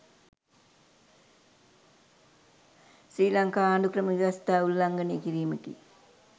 ශ්‍රී ලංකා ආණ්ඩුක්‍රම ව්‍යවස්ථාව උල්ලංඝනය කිරීමකි.